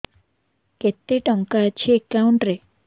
କେତେ ଟଙ୍କା ଅଛି ଏକାଉଣ୍ଟ୍ ରେ